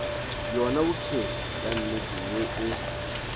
bjona bophelo bja nnete bjoo